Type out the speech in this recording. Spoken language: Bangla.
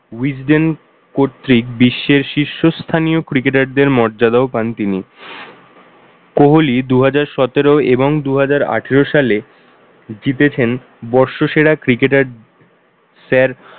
wisden কর্তৃক বিশ্বের শীর্ষস্থানীয় cricketer দের মর্যাদাও পান তিনি। কোহলি দুহাজার সতেরো এবং দুহাজার আঠারো সালে জিতেছেন বর্ষসেরা cricket এর ফের~